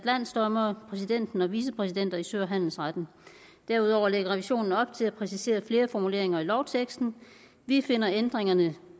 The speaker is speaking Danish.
landsdommere præsidenten og vicepræsidenter i sø og handelsretten derudover lægger revisionen op til at præcisere flere formuleringer i lovteksten vi finder ændringerne